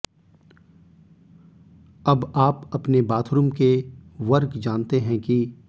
अब आप अपने बाथरूम के वर्ग जानते हैं कि